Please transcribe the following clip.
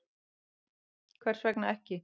Hvers vegna ekki?